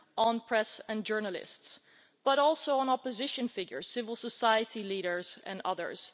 on press and journalists, but also on opposition figures, civil society leaders and others.